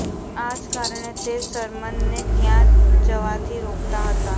આ જ કારણે તે સરમનને ત્યાં જવાથી રોકતા હતા